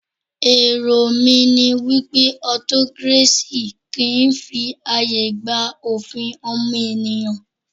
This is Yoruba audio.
Èrò mí ní wípé autocracy kìí fi ààyè gba òfin ọmọnìyàn.